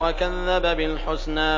وَكَذَّبَ بِالْحُسْنَىٰ